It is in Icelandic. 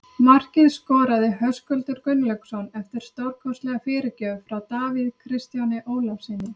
Markið skoraði Höskuldur Gunnlaugsson eftir stórkostlega fyrirgjöf frá Davíð Kristjáni Ólafssyni.